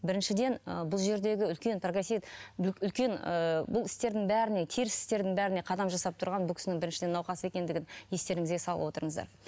біріншіден ы бұл жердегі үлкен үлкен ы бұл істердің бәріне теріс істердің бәріне қадам жасап тұрған бұл кісінің біріншіден науқас екендігін естеріңізге салып отырыңыздар